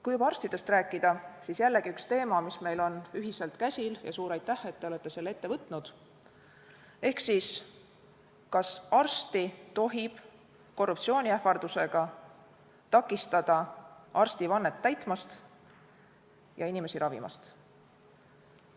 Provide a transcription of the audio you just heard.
Kui juba arstidest rääkida, siis jällegi üks teema, mis meil on ühiselt käsil ja suur aitäh, et te olete selle ette võtnud: kas arsti tohib korruptsiooniähvardusega takistada arstivannet täitmast ja inimesi ravimast?